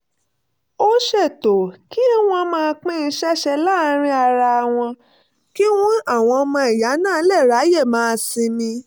ó ṣètò kí wọ́n máa pín iṣẹ́ ṣe láàárín ara wọn kí àwọn ọmọ ìyá náà lè ráyè máa sinmi